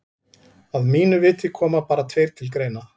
Að mínu viti koma bara tveir til greina.